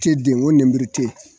Te den o nemuru te yen